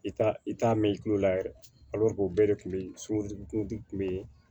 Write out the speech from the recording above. I t'a i t'a mɛn i kulo la yɛrɛ o bɛɛ de kun be yen kun be yen